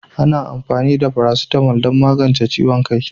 Ana amfani da "Paracetamol" don magance ciwon kai